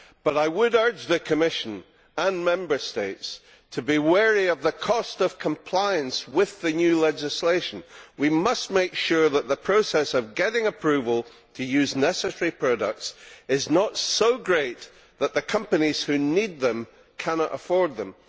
However, I would urge the Commission and Member States to be wary of the cost of compliance with the new legislation. We must make sure that the process of getting approval to use necessary products is not so great that the companies who need them cannot afford them.